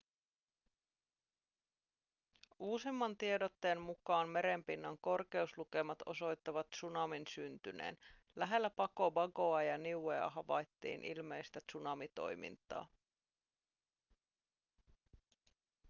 uusimman tiedotteen mukaan meren pinnan korkeuslukemat osoittavat tsunamin syntyneen lähellä pago pagoa ja niuea havaittiin ilmeistä tsunamitoimintaa